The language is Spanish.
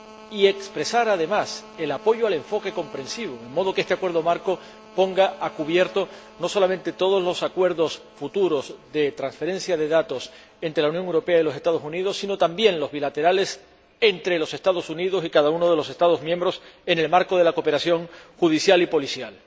Y para expresar, también, el apoyo al enfoque comprensivo, de modo que este acuerdo marco ponga a cubierto no solamente todos los acuerdos futuros de transferencia de datos entre la Unión Europea y los Estados Unidos, sino también los bilaterales entre los Estados Unidos y cada uno de los Estados miembros en el marco de la cooperación judicial y policial.